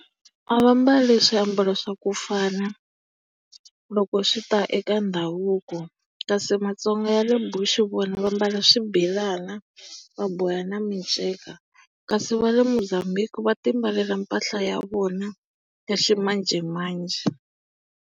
A va mbali swiambalo swa ku fana loko swi ta eka ndhavuko. Kasi maTsonga va le Bush vona va mbala swibelana va boha na miceka, kasi va le Mozambique va ti mbalela mpahla ya vona ya ximanjhemanjhe.